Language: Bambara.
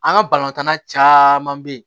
An ka balontanna caman bɛ yen